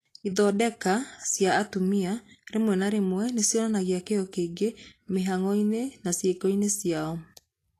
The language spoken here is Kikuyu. Ithondeka cia atumia rĩmwe na rĩmwe nĩ cionanagia "kĩyo kĩingĩ" mĩhang'o-inĩ na ciĩko-inĩ ciacio.